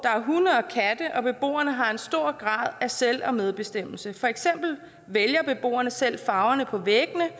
der er beboerne har en stor grad af selv og medbestemmelse for eksempel vælger beboerne selv farverne på væggene